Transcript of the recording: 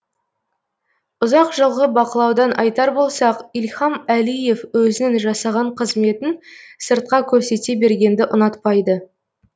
ұзақ жылғы бақылаудан айтар болсақ ильхам әлиев өзінің жасаған қызметін сыртқа көрсете бергенді ұнатпайды